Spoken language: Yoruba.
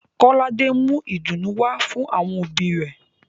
Kolade mú ìdunu wá fún àwọn òbí rẹ̀